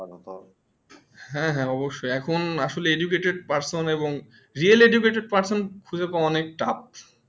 হ্যাঁ হ্যাঁ অবশ্যএখন আসলে Educated person এবং Real educated person খুঁজে অনেক touf